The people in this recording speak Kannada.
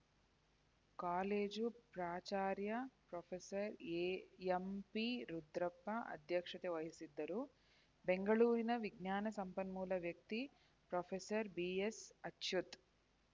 ಕಾಲೇಜು ಪ್ರಾಚಾರ್ಯ ಪ್ರೊಫೆಸರ್ ಎಂಪಿರುದ್ರಪ್ಪ ಅಧ್ಯಕ್ಷತೆ ವಹಿಸಿದ್ದರು ಬೆಂಗಳೂರಿನ ವಿಜ್ಞಾನ ಸಂಪನ್ಮೂಲ ವ್ಯಕ್ತಿ ಪ್ರೊಫೆಸರ್ ಬಿಎಸ್‌ಅಚ್ಯುತ್‌